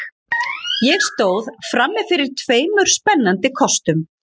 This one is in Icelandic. Ég stóð frammi fyrir tveimur spennandi kostum.